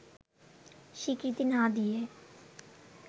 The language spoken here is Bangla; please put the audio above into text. স্বীকৃতি না দিয়ে